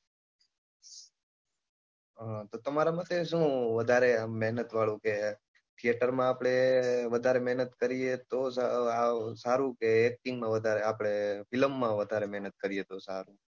તમારા માટે શું વધારે મહેનત વાળું છે ખેતરમાં આપણે વધારે મહેનત કરીએ તો જ સારું કે acting માં આપણે film માં વધારે મહેનત કરીએ તો સારું?